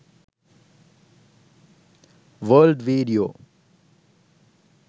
world video